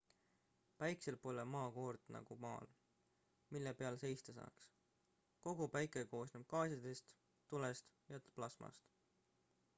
päikesel pole maakoort nagu maal mille peal seista saaks kogu päike koosneb gaasidest tulest ja plasmast